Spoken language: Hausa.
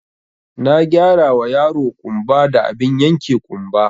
Na gyarawa yaro ƙumba da abin yanke ƙumba